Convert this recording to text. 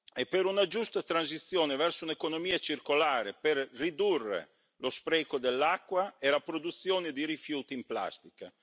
e per una giusta transizione verso un'economia circolare, per ridurre lo spreco dell'acqua e la produzione di rifiuti in plastica.